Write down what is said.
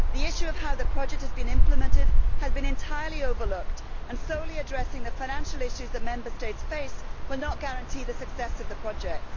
The issue of how the project is being implemented has been entirely overlooked, and solely addressing the financial issues that Member States face will not guarantee the success of the projects.